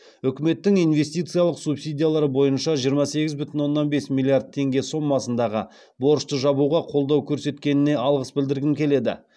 үкіметтің инвестициялық субсидиялар бойынша жиырма сегіз бүтін оннан бес миллиард теңге сомасындағы борышты жабуға қолдау көрсеткеніне алғыс білдіргім келеді